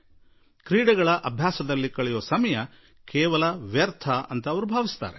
ಸಮಾಜದಲ್ಲಿ ಇಂದಿಗೂ ಆಟವಾಡುವ ಸಮಯವೆಂದರೆ ಹಾಳಾಗಿ ಹೋಗುವುದು ಎಂದೇ ಪರಿಗಣಿತವಾಗಿದೆ